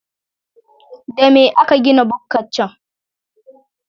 Da me aka gina bukkar can?